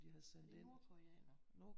Det er nordkoreanere